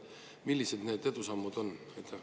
Millised need edusammud on?